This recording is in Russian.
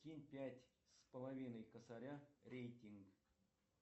кинь пять с половиной косаря рейтинг